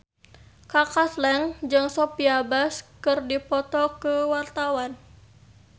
Kaka Slank jeung Sophia Bush keur dipoto ku wartawan